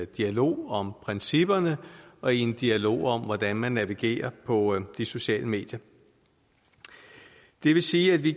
dialog om principperne og i en dialog om hvordan man navigerer på de sociale medier det vil sige at vi